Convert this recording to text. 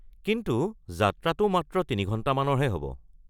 কিন্তু, যাত্ৰাটো মাত্ৰ তিনি ঘণ্টামানৰহে হ’ব।